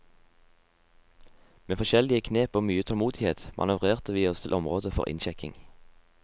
Med forskjellige knep og mye tålmodighet manøvrerte vi oss til området for innsjekking.